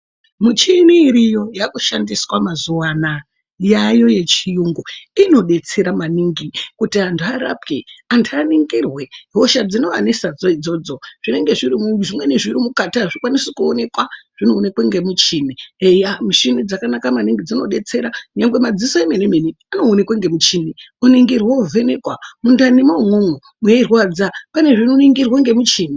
Michini iriyo yakushandiswa mazuvaanaya yaayo yechiyungu inodetsera maningi kuti antu arapwe antu aningirwe hosha dzinovanesadzo idzodzo zvimweni zvirimukati hazvikwanisi kuonekwa zvinoonekwa ngemuchini eya muchini dzakanaka maningi dzinodetsera nyangwe madziso emene mene anoonekwa ngemuchini oningirwa ovhenekwa mundanimwo imwomwo mweirwadza pane zvinoningirwa ngemuchini.